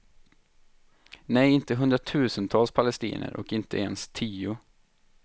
Nej, inte hundratusentals palestinier och inte ens tio.